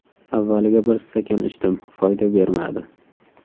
Avvaliga bir stakan ichdim, foyda bermadi.